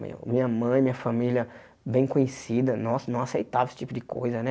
Minha mãe, minha família, bem conhecida, não não aceitava esse tipo de coisa, né?